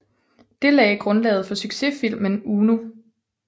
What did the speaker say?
Det lagde grundlaget for sucsessfilmen Uno